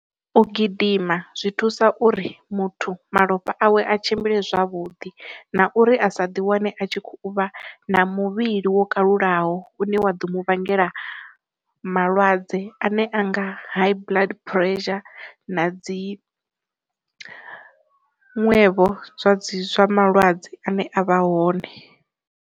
U gidima zwi thusa uri muthu malofha awe a tshimbile zwavhuḓi na uri a sa ḓi wane a tshi kho uvha na muvhili wo kalulaho une wa ḓo mu vhangela malwadze ane anga high blood pressure na dzi zwiṅwevho zwa dzi zwa malwadze ane avha hone.